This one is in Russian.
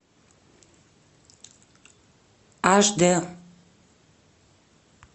аш дэ